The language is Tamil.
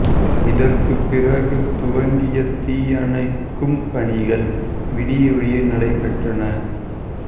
இதற்குப் பிறகு துவங்கிய தீயணைக்கும் பணிகள் விடிய விடிய நடைபெற்றன